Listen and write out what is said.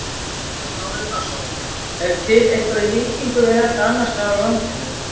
Kristján Már Unnarsson: Er til eitthvað í líkingu við þetta annarsstaðar á landinu?